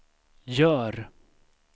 gör